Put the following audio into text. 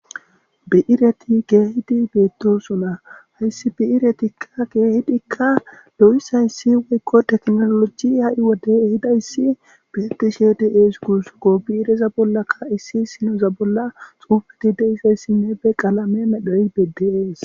Bi'ireti kehiddi bettosona.hessi Bi'irettika kehidika wode tekinolojeyi ehidayisi betesiko hayis biireta bolla xufeti deyidayisine duma qalame medhoyi bettesi